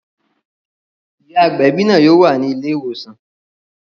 Ìyá agbẹ̀bí náà yóò wà ní ilé ìwòsàn